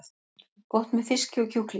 Gott með fiski og kjúklingi